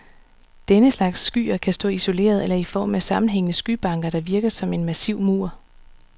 Denne slags skyer kan stå isolerede, eller i form af sammenhængende skybanker, der virker som en massiv mur.